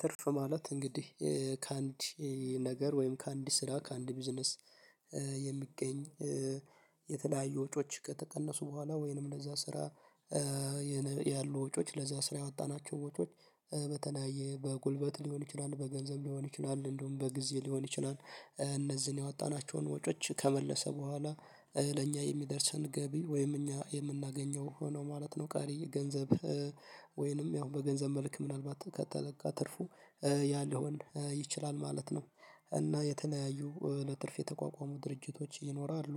ትርፍ ማለት እንግዲህ ከአንድ ነገር ወይም ከአንድ ስራ ከአንድ ቢዝነስ የሚገኝ የተለያዩ ወጮች ከተቀነሱ በኋላ ወይንም ለዛ ስራ ያሉ ወጪዎች ለዛ ስራ ያወጣናቸው ወጪዎች በተለያየ በጉልበት ሊሆን ይችላል በገንዘብ ሊሆን ይችላል እንዲሁም በገንዘብ ሊሆን ይችላል እነዚህን ያወጣናቸውን ወጮች ከመለሰ በኋላ ለእኛ የሚደርሰን ገቢ ወይም እኛ የምናገኘው ሆኖ ማለት ነው ቀሪ ገንዘብ ወይንም ያው በገንዘብ መልክ ምናልባት ከተለቀ ትርፉ ያለውን ይችላል ማለት ነው። እና የተናያዩ ለትርፍ የተቋቋሙ ድርጅቶች ይኖራሉ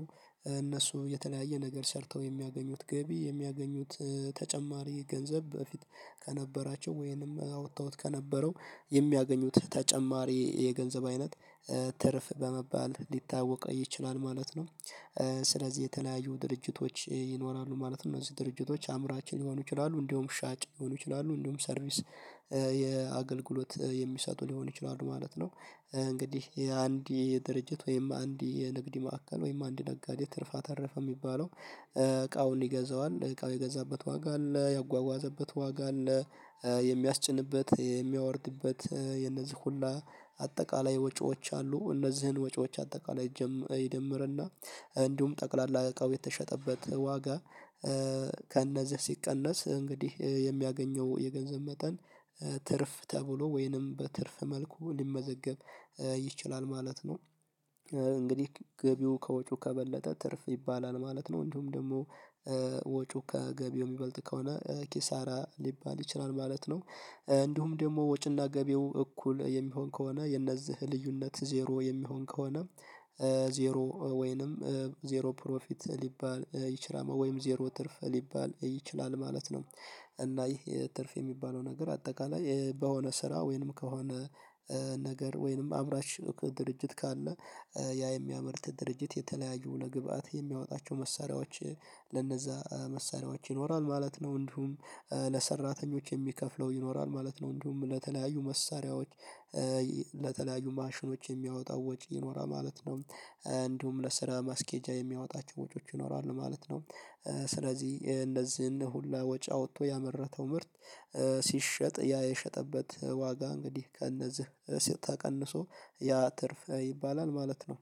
እነሱ የተለያየ ነገር ሰርተው የሚያገኙት ገቢ የሚያገኙት ተጨማሪ ገንዘብ በፊት ከነበራቸው ወይንም አውጠውት ከነበረው የሚያገኙት ተጨማሪ የገንዘብ አይነት ትርፍ በመባል ሊታወቅ ይችላል ማለት ነው። ስለዚህ የተለያዩ ድርጅቶች ይኖራሉ ማለት ነው እነዚህ ድርጅቶች አምራች ሊሆኑ ይችላሉ እንዲሁም ሻጭ ሊሆኑ ይችላሉ እንዲሁም ሰርቪስ የአገልግሎት የሚሰጡ ሊሆን ይችላሉ ማለት ነው። እንግዲህ የአንድ የድርጅት ወይም አንድ የንግድ ማዕከል ወይም አንድ ነጋዴ ትርፍ አተረፈ የሚባለው እቃውን ይገዛዋል እቃው የገዛበት ዋጋ አለ ያጓጓዘበት ዋጋ አለ የሚያስጭንበት የሚያወርድበት የነዚህ ሁላ አጠቃላይ ወጪዎች አሉ እነዚህን ወጪዎች አጠቃላይ ይደምርና እንዲሁም ጠቅላላ እቃው የተሸጠበት ዋጋ ከእነዚህ ሲቀነስ እንግዲህ የሚያገኘው የገንዘብ መጠን ትርፍ ተብሎ ወይንም በትርፍ መልኩ ሊመዘገብ ይችላል ማለት ነው። እንግዲህ ገቢው ከወጪው ከበለጠ ትርፍ ይባላል ማለት ነው እንዲሁም ደግሞ ወጪው ከገቢው የሚበልጥ ከሆነ ኪሳራ ሊባል ይችላል ማለት ነው። እንዲሁም ደግሞ ወጪና ገቢው እኩል የሚሆን ከሆነ የነዚህ ልዩነት ዜሮ የሚሆን ከሆነ ዜሮ ወይንም ዜሮ ፕሮፊት ሊባል ይችላል ወይም ዜሮ ትርፍ ሊባል ይችላል ማለት ነው። እና ይሄ ትርፍ የሚባለው ነገር አጠቃላይ በሆነ ስራ ወይንም ከሆነ ነገር ወይንም አምራች ድርጅት ካለ ያ የሚያመርት ድርጅት የተለያዩ ለግብአት የሚያወጣቸው መሳሪያዎች ለነዛ መሳሪያዎች ይኖራል ማለት ነው። እንዲሁም ለሰራተኞች የሚከፍለው ይኖራል ማለት ነው እንዲሁም ለተለያዩ መሳሪያዎች ለተለያዩ ማሽኖች የሚያወጣው ወጪ ይኖራል ማለት ነው። እንዲሁም ለስራ ማስኬጃ የሚያወጣቸው ወጪዎች ይኖራሉ ማለት ነው። ስለዚህ የእነዚህን ሁላ ወጪ አውቶ ያመረተው ምርት ሲሸጥ ያ የሸጠበት ዋጋ እንግዲህ ከእነዚህ ተቀንሶ ያ ትርፍ ይባላል ማለት ነው